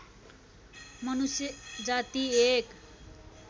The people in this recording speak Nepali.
मनुष्य जाति एक